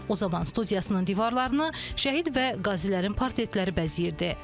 O zaman studiyasının divarlarını şəhid və qazilərin portretləri bəzəyirdi.